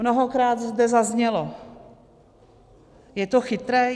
Mnohokrát zde zaznělo: Je to chytré?